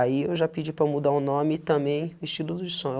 Aí eu já pedi para mudar o nome e também o estilo do som.